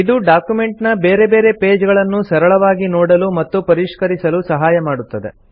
ಇದು ಡಾಕ್ಯುಮೆಂಟ್ ನ ಬೇರೆ ಬೇರೆ ಪೇಜ್ ಗಳನ್ನು ಸರಳವಾಗಿ ನೋಡಲು ಮತ್ತು ಪರಿಷ್ಕರಿಸಲು ಸಹಾಯ ಮಾಡುತ್ತದೆ